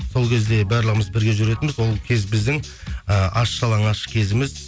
сол кезде барлығымыз бірге жүретінбіз ол кез біздің ііі аш жалаңаш кезіміз